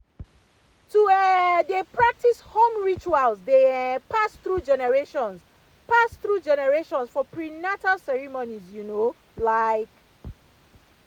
to um dey practice home rituals dey um pass through generations pass through generations for prenatal ceremonies you know like.